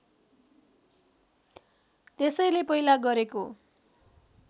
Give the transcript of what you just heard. त्यसैले पहिला गरेको